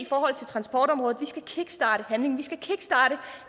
forhold til transportområdet vi skal kickstarte handling vi skal kickstarte